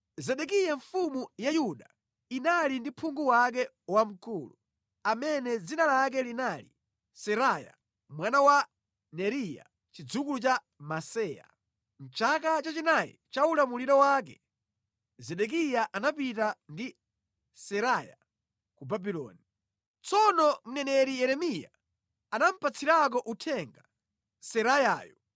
Zedekiya mfumu ya Yuda inali ndi phungu wake wamkulu amene dzina lake linali Seraya mwana wa Neriya chidzukulu cha Maseya. Mʼchaka chachinayi cha ulamuliro wake, Zedekiya anapita ndi Seraya ku Babuloni. Tsono mneneri Yeremiya anamupatsirako uthenga Serayayo.